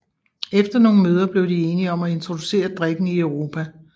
Efter nogle møder blev de enige om at introducere drikken i Europa